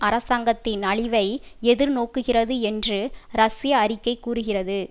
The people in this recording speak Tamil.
அரசாங்கத்தின் அழிவை எதிர் நோக்குகிறது என்று ரஷ்ய அறிக்கை கூறுகிறது